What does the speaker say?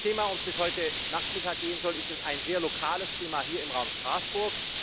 Das Thema, um das es heute Nachmittag gehen soll, ist ein sehr lokales Thema hier im Raum Straßburg.